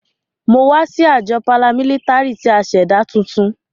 Mo wa si ajọ paramilitary ti a ṣẹda tuntun.